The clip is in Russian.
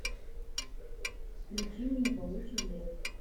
включи мне паучий лес